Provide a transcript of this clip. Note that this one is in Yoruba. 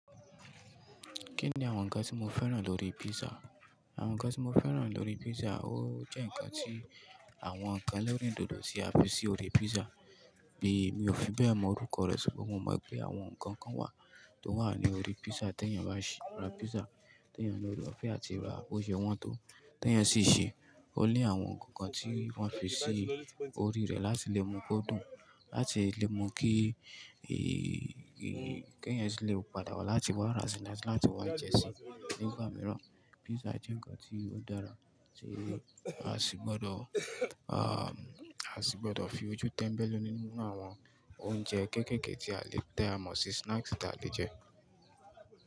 Kí ni àwọn ǹkan tí mo fẹ́ràn lórí pizza? Àwọn ǹkan tí mo fẹ́ràn lórí pizza, ó jẹ́ ǹkan tí àwọn ǹkan lórí dòdò sí a fi sí orí pizza. Mi ò fi bẹ́ẹ̀ mọ orúkọ rẹ̀ ṣùgbọ́n mo mọ̀ pé àwọn ǹkan kan wà tó wà ní orí pizza tí ẹni bá ṣe ra pizza, tí ẹni bá fẹ́ àti ra ó ṣe wọn tó. Teeyan sì ṣe, ó ní àwọn nnkankan tí wọ́n fi sí orí rẹ̀ láti lè mú kí ó dùn, láti lè mú kí, keeyan si lè padà wá láti wá ra sí láti wá jẹ́ sí nígbà mìíràn. Pizza jẹ́ ǹkan tí ó dára tí a sì gbọdọ̀, a sì gbọdọ̀ fi ojú tẹ́ńbẹ́lú nínú àwọn oúnjẹ kéékèèké tí a lè tà mọ́ sì snacks tí a lè jẹ́.